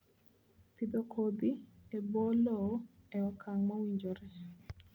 Pidho kodhi e bwo lowo e okang' mowinjore